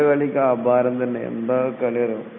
ബ്രസീലിന്റെ കളി എന്താകളിയെന്ന് അറിയോ അപാര കളിതന്നെ